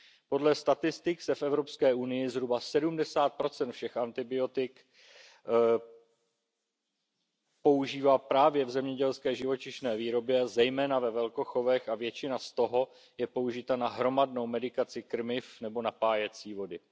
Podle statistik se v EU zhruba 70 všech antibiotik používá právě v zemědělské živočišné výrobě, zejména ve velkochovech, a většina z toho je použita na hromadnou medikaci krmiv nebo napájecí vody.